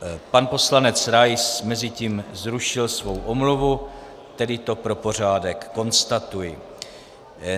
Pan poslanec Rais mezitím zrušil svou omluvu, tedy to pro pořádek konstatuji.